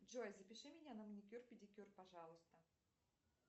джой запиши меня на маникюр педикюр пожалуйста